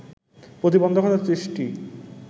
প্রতিবন্ধকতা সৃষ্টি